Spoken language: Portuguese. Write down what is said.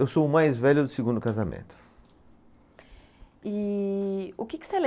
Eu sou o mais velho do segundo casamento. E o que que você